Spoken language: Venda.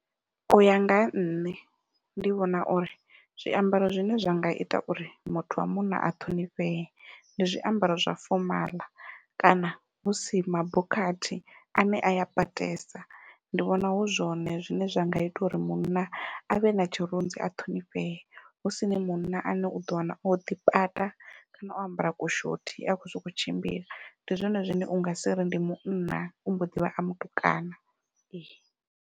Uya nga ha nṋe ndi vhona uri zwiambaro zwine zwa nga ita uri muthu wa munna a ṱhonifhee ndi zwiambaro zwa fomaḽa kana husi mabokhathi ane aya patesa. Ndi vhona hu zwone zwine zwa nga ita uri munna avhe na tshirunzi a ṱhonifhee, husini munna ane uḓo wana oḓi pata kana o ambara ku shothi a khou sokou tshimbila ndi zwone zwine unga si ri ndi munna u mbo ḓivha a mutukana.